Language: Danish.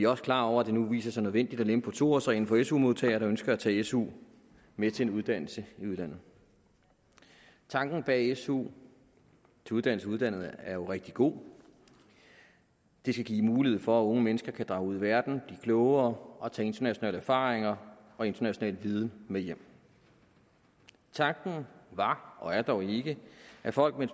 også klar over at det nu viser sig nødvendigt at lempe på to årsreglen for su modtagere der ønsker at tage su med til en uddannelse i udlandet tanken bag su til uddannelse i udlandet er jo rigtig god det skal give mulighed for at unge mennesker kan drage ud i verden blive klogere og tage internationale erfaringer og international viden med hjem tanken var og er dog ikke at folk med